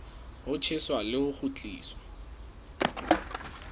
ho tjheswa le ho kgutliswa